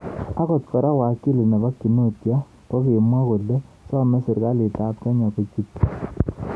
Angot kora wakili nepo Kinuthia kokimwa kole some serkalit ap Kenya kochutchi.